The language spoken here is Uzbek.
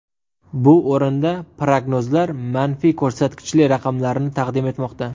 Bu o‘rinda prognozlar manfiy ko‘rsatkichli raqamlarni taqdim etmoqda.